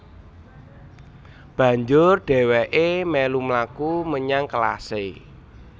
Banjur dhèwèké mèlu mlaku menyang kelasé